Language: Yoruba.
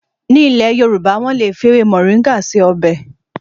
Ní ilé Yoruba, wọ́n lè fi ewé mọ̀ríńgà ṣe ọbẹ̀